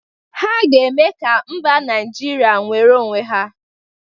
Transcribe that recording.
Ha ga-eme ka mba Naịjiria nwere onwe ya